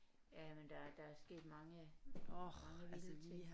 Jamen der der er sket mange mange vilde ting